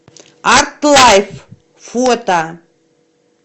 артлайф фото